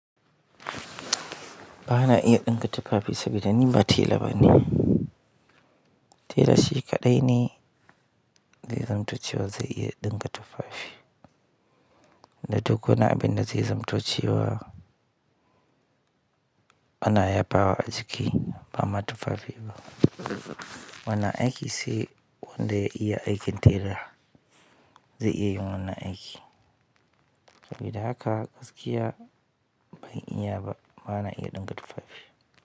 Bana iya ɗinka tufafi saboda ni ba tela ba ne. Tela shi kaɗai ne zai zamt cewa zai iya ɗinka tufafi. Da tukkuna abin da yaza manto cewa ana ya bawa a jiki ba ma tufafi ba. Wannan aiki saibwanda ya iya aikin tela, zai iya yin wannan aiki. Saboda haka gaskiya ban iya ba, ba na iya ɗinka tufafi.